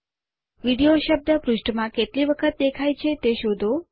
video શબ્દ પૃષ્ઠ માં કેટલી વખત દેખાય છે તે શોધો